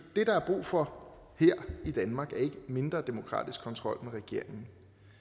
der er brug for her i danmark er ikke mindre demokratisk kontrol med regeringen